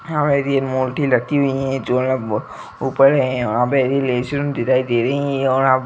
मूर्ति रखी हुई है --